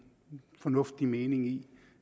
fornuftig mening i